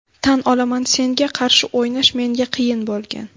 Tan olaman, senga qarshi o‘ynash menga qiyin bo‘lgan.